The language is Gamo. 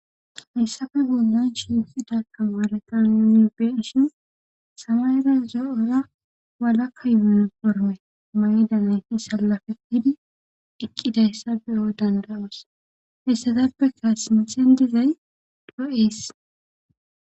Hayssappe bollan shiiqida tamaareta nuni be7ishin samayera zo7ora walaka mayo mayidi salapetidi eqqidayssa be7o dandda7oos.